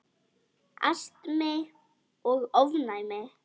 Astmi og ofnæmi